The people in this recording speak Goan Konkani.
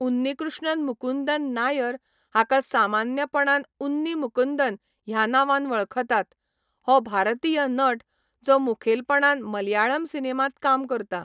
उन्नीकृष्णन मुकुंदन नायर, हाका सामान्यपणान उन्नी मुकुंदन ह्या नांवान वळखतात, हो भारतीय नट, जो मुखेलपणान मलयाळम सिनेमांत काम करता.